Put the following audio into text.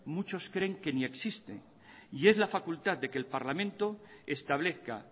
muchos creen que ni existen y es la facultad de que el parlamento establezca